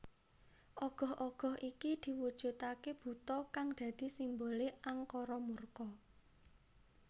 Ogoh ogoh iki diwujudake buta kang dadi simbole angkara murka